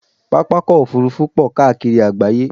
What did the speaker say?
Pápákọ̀ òfurufú pọ̀ káàkiri àgbááyé